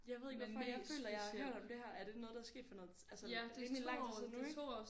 Jeg ved ikke hvorfor jeg føler jeg har hørt om det her er det noget der er sket for noget altså rimelig lang tid siden nu ik?